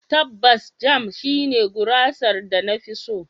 Tabbas, Jam shine gurasar da na fi so.